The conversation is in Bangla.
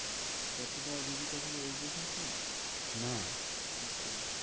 ক্যাটরিনা আর ভিকি কৌশল এর age difference নেই? না আচ্ছা